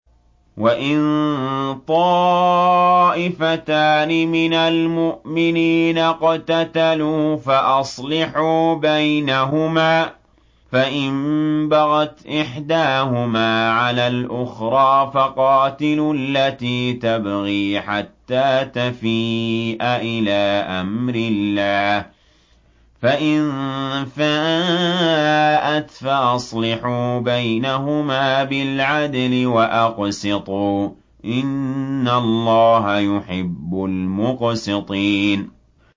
وَإِن طَائِفَتَانِ مِنَ الْمُؤْمِنِينَ اقْتَتَلُوا فَأَصْلِحُوا بَيْنَهُمَا ۖ فَإِن بَغَتْ إِحْدَاهُمَا عَلَى الْأُخْرَىٰ فَقَاتِلُوا الَّتِي تَبْغِي حَتَّىٰ تَفِيءَ إِلَىٰ أَمْرِ اللَّهِ ۚ فَإِن فَاءَتْ فَأَصْلِحُوا بَيْنَهُمَا بِالْعَدْلِ وَأَقْسِطُوا ۖ إِنَّ اللَّهَ يُحِبُّ الْمُقْسِطِينَ